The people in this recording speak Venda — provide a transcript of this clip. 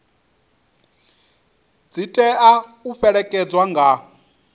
dzi tea u fhelekedzwa nga